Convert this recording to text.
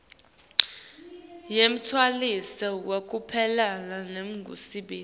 yemshuwalensi wekuphelelwa ngumsebenti